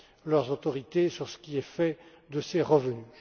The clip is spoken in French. leurs autorités sur ce qui est fait de ces revenus.